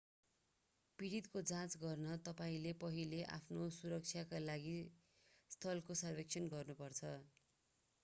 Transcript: पीडितको जाँच गर्न तपाईंले पहिले आफ्नो सुरक्षाका लागि स्थलको सर्वेक्षण गर्नुपर्छ